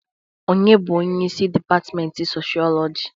Onye bụ onye isi dipatment Soshọọlọjị?